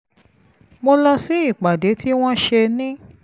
mo lọ sí ìpàdé tí wọ́n ṣe ní